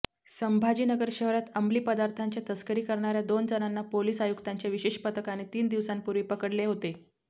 संभाजीनगर शहरात अंमली पदार्थांची तस्करी करणाऱ्या दोन जणांना पोलीस आयुक्तांच्या विशेष पथकाने तीन दिवसांपूर्वी पकडलेहोते